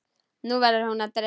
Nú verður hún að dæma.